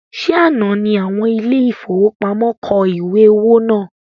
Ṣe àná ní àwọn ile-ìfowópamó kọ ìwé owó náà?